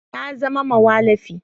Na zama mawallafi